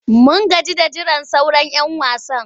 Mun gaji da jiran sauran'yan wasan.